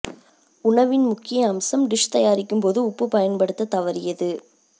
உணவின் முக்கிய அம்சம் டிஷ் தயாரிக்கும் போது உப்பு பயன்படுத்தத் தவறியது